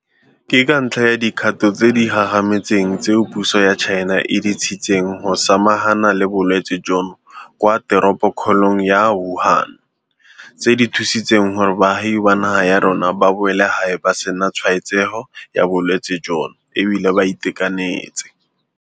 Ke ka ntlha ya dikgato tse di gagametseng tseo puso ya China e di tshitseng go samagana le bolwetse jono kwa teropokgolong ya Wuhan, tse di thusitseng gore baagi ba naga ya rona ba boele gae ba sena tshwaetsego ya bolwetse jono e bile ba itekanetse.